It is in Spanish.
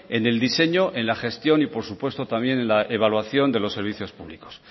en el diseño en la gestión y por supuesto también en la evaluación de los servicios públicos